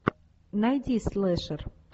найди слэшер